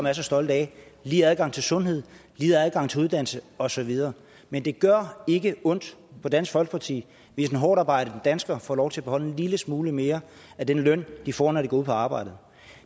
er så stolte af lige adgang til sundhed lige adgang til uddannelse og så videre men det gør ikke ondt på dansk folkeparti hvis hårdtarbejdende danskere får lov til at beholde en lille smule mere af den løn de får når de går på arbejde